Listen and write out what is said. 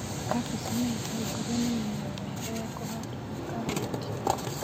Kabeci na itũngũrũ nĩmĩmera mĩega ya kũhandanĩrio na karati,